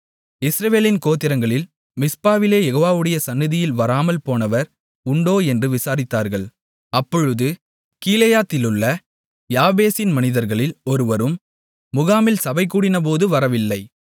இஸ்ரவேலின் கோத்திரங்களில் மிஸ்பாவிலே யெகோவாவுடைய சந்நிதியில் வராமல் போனவர் உண்டோ என்று விசாரித்தார்கள் அப்பொழுது கீலேயாத்திலுள்ள யாபேசின் மனிதர்களில் ஒருவரும் முகாமில் சபைகூடினபோது வரவில்லை